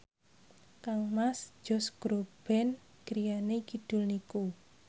kangmas Josh Groban griyane kidul niku